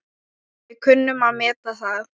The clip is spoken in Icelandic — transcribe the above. Við kunnum að meta það.